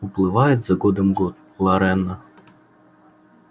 уплывает за годом год лорена